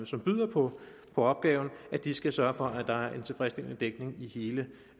som byder på opgaven at de skal sørge for at der er en tilfredsstillende dækning i hele